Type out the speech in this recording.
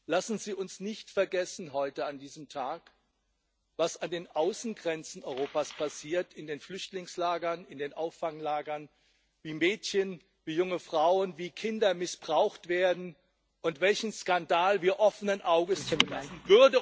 Lassen Sie uns nicht vergessen heute an diesem Tag was an den Außengrenzen Europas, in den Flüchtlingslagern und in den Auffanglagern passiert, wie Mädchen, junge Frauen, wie Kinder missbraucht werden, und welchen Skandal wir offenen Auges zulassen!